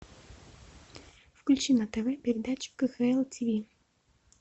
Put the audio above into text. включи на тв передачу кхл тв